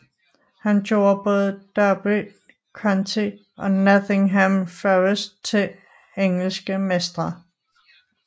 Han gjorde både Derby County og Nottingham Forest til engelske mestre